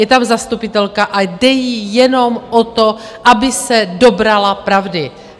Je tam zastupitelka a jde jí jenom o to, aby se dobrala pravdy.